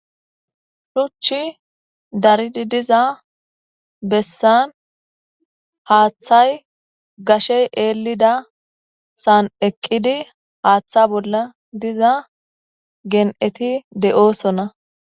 Shuchchi daridi diza bessan haaththay gashey eelida san'eqqidi haaththa bolla diza gen'eti de'oosona.